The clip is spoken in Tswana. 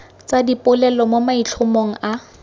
tsa dipolelo mo maitlhomong a